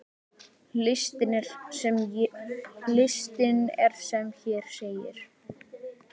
Listinn er sem hér segir